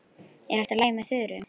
Er allt í lagi með Þuru?